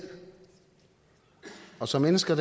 og som mennesker